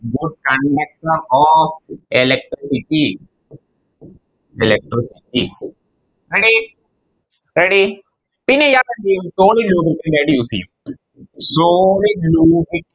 good conductor of electricity Electricity ready ready ഇനി ഇയാളെന്തെയ്യും Solid lubricant ആയിട്ട് Use ചെയ്യും Solid